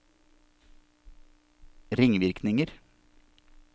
ringvirkninger